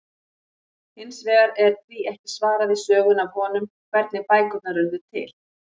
Hins vegar er því ekki svarað í sögunni af honum, hvernig bækurnar urðu til!?